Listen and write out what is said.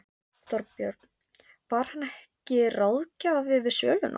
Þorbjörn: Var hann ekki ráðgjafi við söluna?